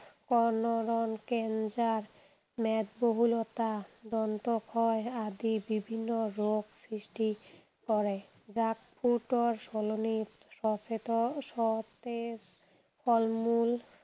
কল’নৰ cancer, মেদবহুলতা, দন্তক্ষয় আদি বিভিন্ন ৰোগ সৃষ্টি কৰে। junk food ৰ সলনি সতেজ, সতেজ ফল মূল